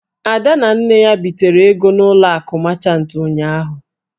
Ada na Nne ya bitere ego n'ụlọ akụ machant ụnyụahụ.